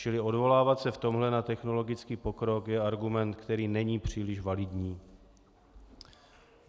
Čili odvolávat se v tomhle na technologický pokrok je argument, který není příliš validní.